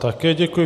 Také děkuji.